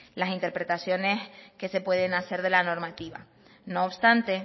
las interpretaciones que se pueden hacer de la normativa no obstante